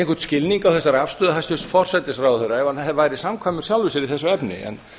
einhvern skilning á þessari afstöðu hæstvirts forsætisráðherra ef hann væri samkvæmur sjálfum sér í þessu efni en